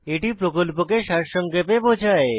এটি প্রকল্পকে সারসংক্ষেপে বোঝায়